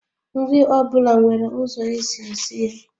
Nri ọ bụla nwere ụzọ esi esi ya